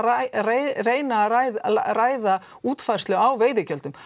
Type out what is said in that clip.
reyna að ræða ræða útfærslu á veiðigjöldum